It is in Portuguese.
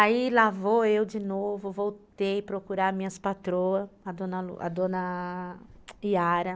Aí lá vou eu de novo, voltei procurar minhas patroas, a dona a dona Yara.